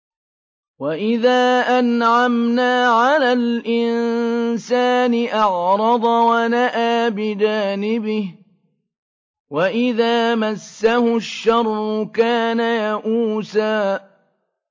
وَإِذَا أَنْعَمْنَا عَلَى الْإِنسَانِ أَعْرَضَ وَنَأَىٰ بِجَانِبِهِ ۖ وَإِذَا مَسَّهُ الشَّرُّ كَانَ يَئُوسًا